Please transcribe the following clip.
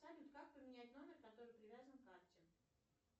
салют как поменять номер который привязан к карте